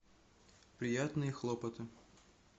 приятные хлопоты